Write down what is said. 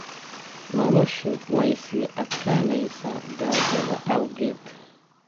Noloshu way sii adkaanaysaa gaajada awgeed.